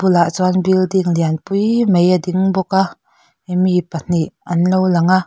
bulah chuan building lian pui mai a ding bawk a mi pahnih anlo lang a.